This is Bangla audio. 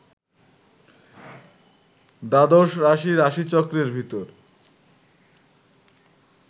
দ্বাদশ রাশি রাশিচক্রের ভিতর